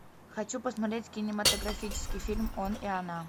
хочу посмотреть кинематографический фильм он и она